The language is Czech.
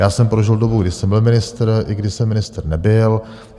Já jsem prožil dobu, kdy jsem byl ministr i kdy jsem ministr nebyl.